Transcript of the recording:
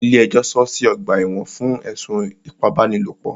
Ilé ẹjọ́ sọọ́ sí ọ̀gbà ẹ̀wọ̀n fún ẹ̀sùn ipábánilòpọ̀.